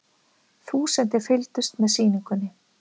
Þúsundir fylgdust með sýningunni